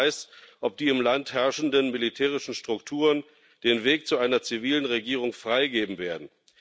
Keiner weiß, ob die im Land herrschenden militärischen Strukturen den Weg zu einer zivilen Regierung freigeben werden.